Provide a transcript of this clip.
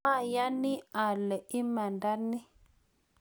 mayani ale imanda ni